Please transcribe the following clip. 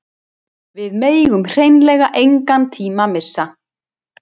Við megum hreinlega engan tíma missa